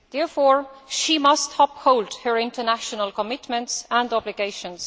therefore, she must uphold her international commitments and obligations.